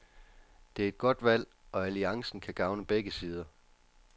Det er et godt valg, og alliancen kan gavne begge sider.